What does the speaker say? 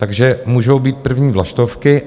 Takže můžou být první vlaštovky.